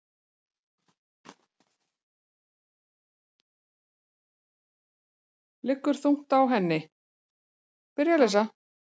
Liggur þungt á henni.